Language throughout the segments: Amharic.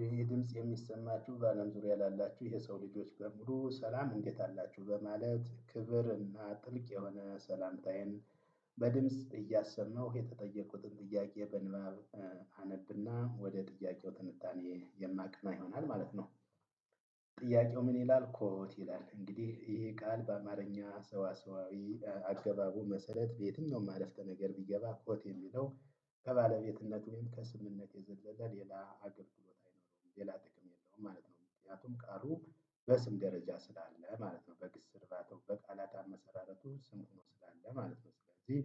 ይሄ ድምጽ የሚሰማችሁ በአለም ዙሪያ ላላችሁ የሰው ልጆች በሙሉ ሰላም እንዴት አላችሁ በማለት ክብር እና ጥልቅ የሆነ ሰላምታዬን በድምጽ እያሰመሁ የተጠየቁትን ጥያቄ በንባብ አነብና ወደ ጥያቄው ትንታኔ የማቀና ይሆናል ማለት ነው። ጥያቄው ምን ይላል? ኮት ይላል እንግዲህ ይሄ ቃል በአማርኛ ሰዋሰዋዊ አገባቡ መሰረት በየትኛውም አረፍተ ነገር ቢገባ ኮት የሚለው ከባለቤትነትም ከስምምነት የዘለዘለ ሌላ አገልግሎት አይኖረውም ሌላ ጥቅም የለውም። ምክንያቱም ቃሉ በስም ደረጃ ስላለ ማለት ነው። በግስ እርባታው በቃላት አመሰራረቱ ስም ሁኖ ስላለ ማለት ነው። ስለዚህ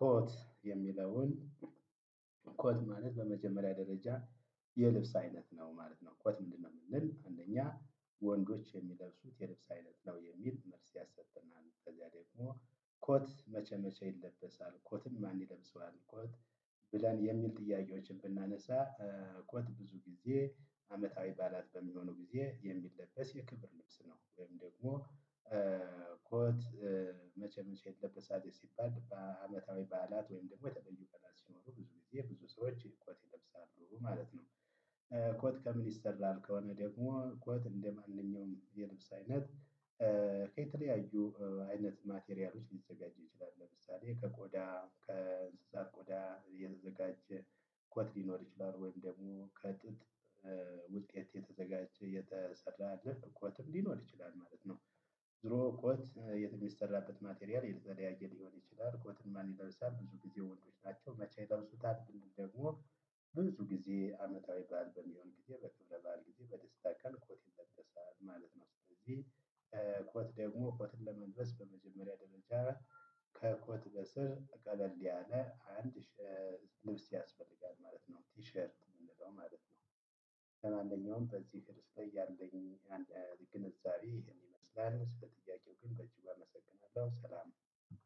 ኮት የሚለውን ኮት ማለት በመጀመሪያ ደረጃ የልብስ አይነት ነው ማለት ነው። ኮት ምንድነው? ብንል አንደኛ ወንዶች የሚለብሱት የልብስ አይነት ነው የሚል መልስ ይሰጠናል። ከዚያ ደግሞ ኮት መቼ መቼ ይለበሳል? ኮትን ማን ይለብሰዋል? ኮት? ብለን የሚል ጥያቄዎችን ብናነሳ ኮት ብዙ ጊዜ አመታዊ በዓላት በሚሆኑ ጊዜ የሚለበስ የክብር ልብስ ነው። ወይም ደግሞ ኮት መቼ መቼ የለበሳት ሲባል በአመታዊ በዓላት ወይም ደግሞ የተለዩ በዓላት ሲኖሩ ብዙ ጊዜ ብዙ ሰዎች ኮት ይለብሳሉ ማለት ነው። ኮት ከምን ይሰራል? ከሆነ ደግሞ ኮት እንደማንኛውም የልብስ አይነት ከተለያዩ አይነት ማቴሪያሎች ሊዘጋጅ ይችላል። ለምሳሌ ከቆዳ ከእንስሳት ቆዳ የተዘጋጀ ኮት ሊኖር ይችላል። ወይም ደግሞ ከጥጥ ውጤት የተዘጋጀ የተሰራ ኮትም ሊኖር ይችላል ማለት ነው። ዝሮ ኮት የሚሰራበት ማቴሪያል የተለያየ ሊሆን ይችላል ኮትን ማን ይለብሳል ብዙ ጊዜ ወንዶች ናቸው። መቼ ይለብሱታል? ደግሞ ብዙ ጊዜ አመታዊ በዓል በሚሆን ጊዜ በክብረ በዓል ጊዜ በደስታ ቀን ኮት ይለበሳል ማለት ነው። ስለዚህ ኮት ደግሞ ኮትን ለመልበስ በመጀመሪያ ደረጃ ከኮት በስር ቀለል ያለ አንድ ልብስ ያስፈልጋል ማለት ነው። ቲሸርት የምንለው ማለት ነው። ለማንኛውም በዚህ ርዕስ ላይ ያለኝ ግንዛቤ ይሄን ይመስላል። ስለ ጥያቄው ግን በእጅግ አመሰግናለሁ ሰላም።